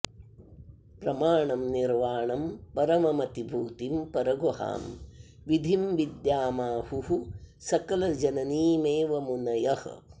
प्रमाणं निर्वाणं परममतिभूतिं परगुहां विधिं विद्यामाहुः सकलजननीमेव मुनयः